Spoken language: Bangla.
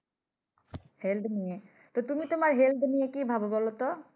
Health নিয়ে। তো তুমি তোমার Health নিয়ে কি ভাবো বলতো?